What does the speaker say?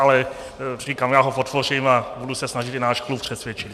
Ale říkám, já ho podpořím a budu se snažit i náš klub přesvědčit.